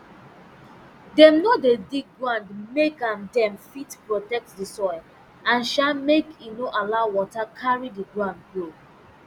dem no dey dig ground make um dem fit protect di soil and um make e no allow water carry di ground go